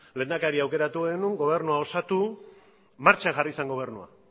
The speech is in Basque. lehendakaria aukeratu genuen gobernua osatu martxan jarri zen gobernua